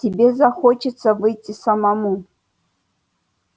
тебе захочется выйти самому